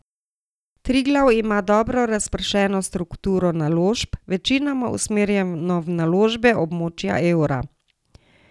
Triglav ima dobro razpršeno strukturo naložb, večinoma usmerjeno v naložbe območja evra.